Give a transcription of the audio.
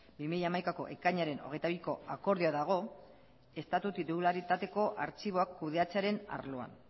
bi mila hamaikako ekainaren hogeita biko akordioa dago estatu titularitateko artxiboak kudeatzearen arloan